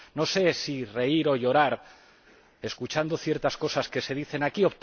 No sé si reír o llorar escuchando ciertas cosas que se dicen aquí.